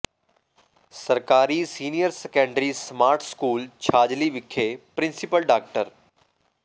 ਸਰਕਾਰੀ senior secondary smart school Chhajli ਵਿਖੇ principal ਡਾ